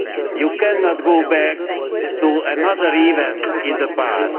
You cannot go back to another event in the past.